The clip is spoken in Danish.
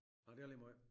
Nåh det er ligemåjt